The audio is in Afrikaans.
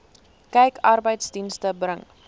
kyk arbeidsdienste bring